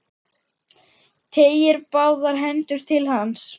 Teygir báðar hendur til hans.